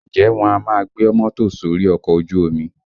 Ǹjẹ́ wọn a máa gbé mọ́tò sórí ọkọ̀ ojú omi?